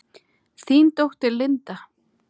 Þín dóttir, Linda.